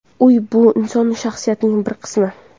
Uy bu inson shaxsiyatining bir qismi.